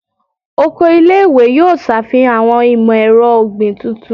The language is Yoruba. Oko ile-iwe yoo ṣafihan awọn imọ-ẹrọ ogbin tuntun